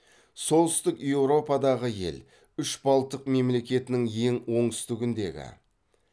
солтүстік еуропадағы ел үш балтық мемлекетінің ең оңтүстігіндегі